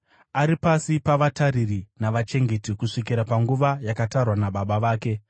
Ari pasi pavatariri navachengeti kusvikira panguva yakatarwa nababa vake.